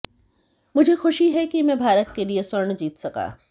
मुझे खुशी है कि मैं भारत के लिए स्वर्ण जीत सका